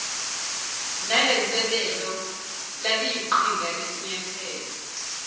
nalenselelo laliyiqhinga lesinyathelo